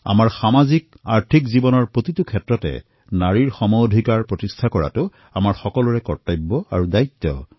আজি সামাজিক আৰ্থিক জীৱনৰ বিভিন্ন ক্ষেত্ৰত মহিলাসকলৰ সমান সমান অংশীদাৰী সুনিশ্চিত কৰা আমাৰ সকলোৰে কৰ্তব্য এয়া আমাৰ সকলোৰে দায়িত্ব